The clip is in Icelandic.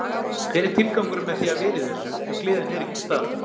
Hver er tilgangurinn með því að vera í þessu ef gleðin er ekki til staðar?